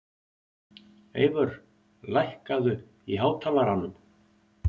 Eyvör, lækkaðu í hátalaranum.